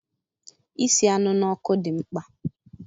Isi anụ n'ọkụ dị mkpa